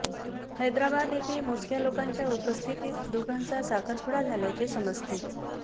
हैदराबाद येथे मोजक्या लोकांच्या उपस्थितीत दोघांचा साखरपुडा झाल्याचे समजते